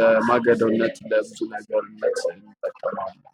።ለማገዶነት እንጠቀመዋለን።